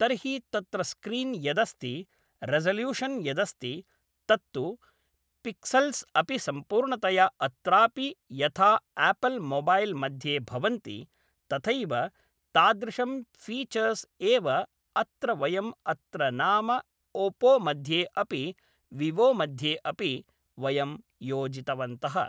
तर्हि तत्र स्क्रीन् यदस्ति रेसोल्यूशन् यदस्ति तत्तु पिक्सल्स् अपि सम्पूर्णतया अत्रापि यथा आपल् मोबैल् मध्ये भवन्ति तथैव तादृशं फीछर्स् एव अत्र वयम् अत्र नाम ओप्पो मध्ये अपि विवो मध्ये अपि वयं योजितवन्तः